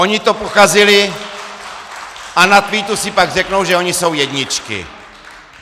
Oni to pokazili a na tweetu si pak řeknou, že oni jsou jedničky.